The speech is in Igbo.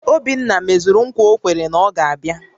Obinna mezuru ńkwà o kwere na ọ ga-abịa